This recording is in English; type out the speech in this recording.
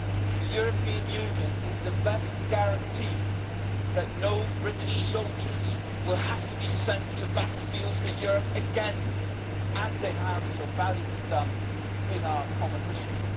The European Union is the best guarantee that no British soldiers will have to be sent to battlefields in Europe again, as they have so valiantly done in our common history.